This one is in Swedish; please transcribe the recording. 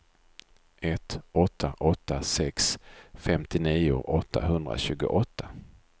ett åtta åtta sex femtionio åttahundratjugoåtta